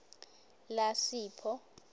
lasipho